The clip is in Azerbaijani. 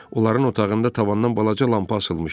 Onların otağında tavandan balaca lampa asılmışdı.